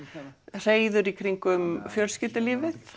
hreiður í kringum fjölskyldulífið